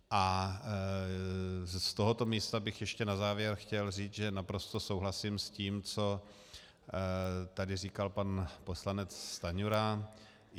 A z tohoto místa bych ještě na závěr chtěl říct, že naprosto souhlasím s tím, co tady říkal pan poslanec Stanjura.